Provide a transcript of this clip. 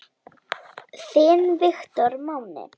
Þinn Viktor Máni.